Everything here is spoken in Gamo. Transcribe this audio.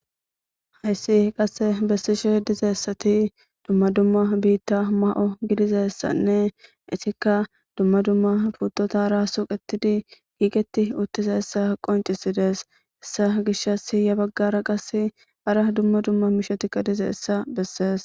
Haysse qasse bessishe dizayssati dumma dumma biita m'o gidizayssanne etikka dumma dumma puutotara suuqetidi giigeti uttidayta qoncisidees. hessa gishasi qasse hara dumma dumma miishatikka dizayssa beese.